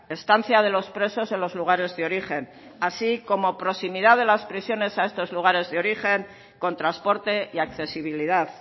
estancia de los presos en los lugares de origen así como proximidad de las prisiones a estos lugares de origen con transporte y accesibilidad